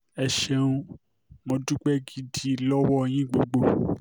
ẹ ṣeun mọ́ dúpẹ́ gidi lọ́wọ́ yín gbogbo